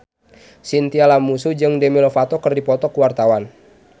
Chintya Lamusu jeung Demi Lovato keur dipoto ku wartawan